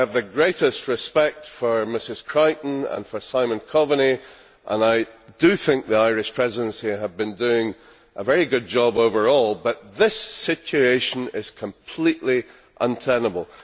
I have the greatest respect for Ms Creighton and for Simon Coveney and I think the Irish Presidency have been doing a very good job overall, but this situation is completely untenable.